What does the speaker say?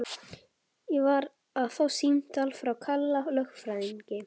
Ég var að fá símtal frá Kalla lögfræðingi.